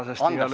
Andestame!